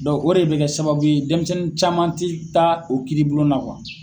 o de bɛ kɛ sababu ye denmisɛnnin caman ti taa o kiiribulon na